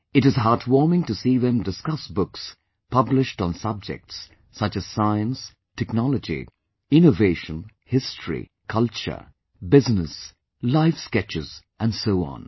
It is heartwarming to see them discuss books published on subjects such as Science, Technology, innovation, history, culture, business, lifesketches and so on